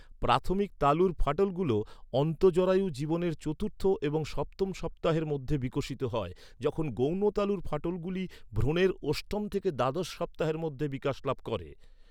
প্রাথমিক তালুর ফাটলগুলি অন্তঃজরায়ু জীবনের চতুর্থ এবং সপ্তম সপ্তাহের মধ্যে বিকশিত হয়, যখন গৌণ তালুর ফাটলগুলি ভ্রূণের অষ্টম থেকে দ্বাদশ সপ্তাহের মধ্যে বিকাশ লাভ করে।